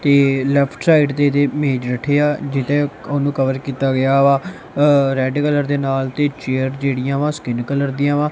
ਤੇ left side ਤੇ ਏਹਦੇ ਮੇਜ ਹਠੇਆ ਜੀਹਤੇ ਓਹਨੂੰ ਕਵਰ ਕੀਤਾ ਗਿਆਵਾ ਰੈੱਡ ਕਲਰ ਦੇ ਨਾਲ ਤੇ ਚੇਅਰ ਜੇਹੜੀਆਂ ਵਾਂ ਸਕਿਨ ਕਲਰ ਦਿਆਂ ਵਾਂ।